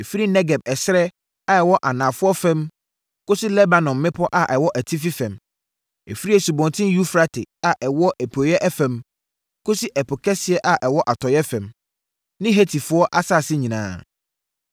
Ɛfiri Negeb ɛserɛ a ɛwɔ anafoɔ fam kɔsi Lebanon mmepɔ a ɛwɔ atifi fam, ɛfiri Asubɔnten Eufrate a ɛwɔ apueeɛ fam kɔsi Ɛpo Kɛseɛ a ɛwɔ atɔeɛ fam, ne Hetifoɔ asase nyinaa.